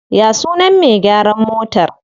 Ya sunan me gyaran motar?